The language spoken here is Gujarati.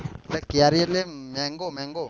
લ્યા કેરી એટલે mango mango